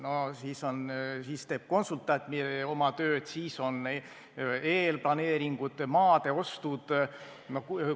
No siis teeb konsultant oma tööd, siis on eelplaneeringud, maade ostud jms.